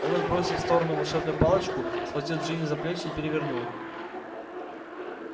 он отбросил в сторону волшебную палочку схватил джинни за плечи и перевернул